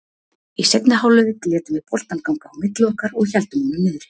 Í seinni hálfleik létum við boltann ganga á milli okkar og héldum honum niðri.